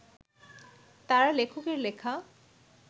তারা লেখকের লেখা